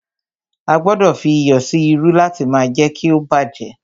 A gbọdọ̀ fí iyọ̀ sí irú láti má jé kí ó bá jẹ́.